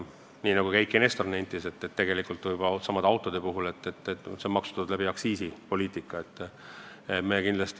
Nii nagu ka Eiki Nestor nentis, tegelikult on needsamad autod juba maksustatud aktsiisipoliitika kaudu.